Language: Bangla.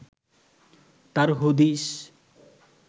তার হদিস